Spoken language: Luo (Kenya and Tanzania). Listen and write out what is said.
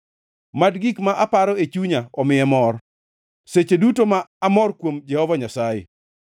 Mad gik ma aparo e chunya omiye mor, seche duto ma amor kuom Jehova Nyasaye.